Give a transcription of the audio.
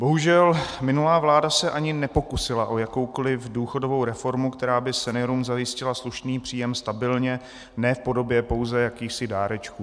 Bohužel, minulá vláda se ani nepokusila o jakoukoliv důchodovou reformu, která by seniorům zajistila slušný příjem stabilně, ne v podobě pouze jakýchsi dárečků.